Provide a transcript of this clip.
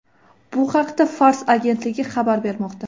Bu haqda Fars agentligi xabar bermoqda .